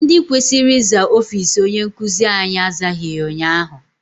Ndị kwesịrị ịza ọfịịsi onye nkụzi anyị azaghị ya ụnyaahụ.